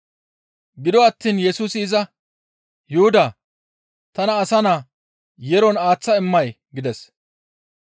Gido attiin Yesusi iza, «Yuhudaa! Tana Asa Naa yeeron aaththa immay?» gides.